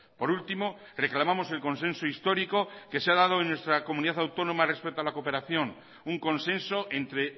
por último reclamamos el consenso histórico que se ha dado en nuestra comunidad autónoma respecto a la cooperación un consenso entre